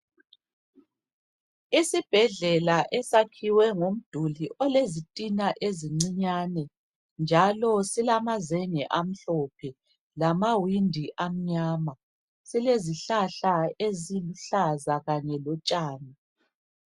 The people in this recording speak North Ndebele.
Isibhedlela esakhiwe ngomduli olezitina ezincinyane njalo silamazenge amhlophe lamawindi amnyama. Silezihlahla eziluhlaza kanye lotshani.